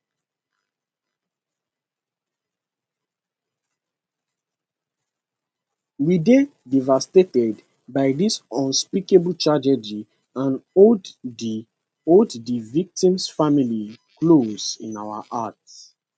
we dey devastated by dis unspeakable tragedy and hold di hold di victims families close in our hearts